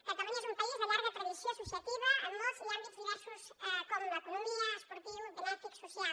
catalunya és un país de llarga tradició associativa en molts àmbits i diversos com l’economia esportiu benèfic social